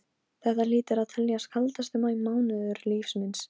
Ég vissi ekki að þú værir þarna.